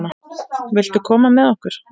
Viltu koma með okkur?